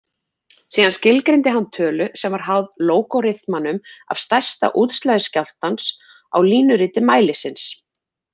Síðan skilgreindi hann tölu sem var háð lógariþmanum af stærsta útslagi skjálftans á línuriti mælisins.